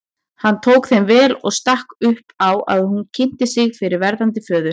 Hann tók þeim vel og stakk upp á að hún kynnti sig fyrir verðandi föður.